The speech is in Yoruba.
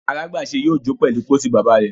alagbese yóò jo pèlú pósí bàbà rẹ.